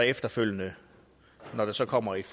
efterfølgende når der så kommer et